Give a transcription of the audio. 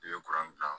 I bɛ bila